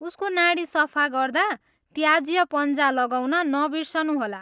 उसको नाडी सफा गर्दा त्याज्य पन्जा लगाउन नबिर्सनुहोला।